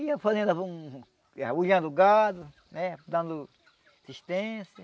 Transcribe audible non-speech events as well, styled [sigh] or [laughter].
Ia fazendo, ia [unintelligible] o gado né, dando assistência.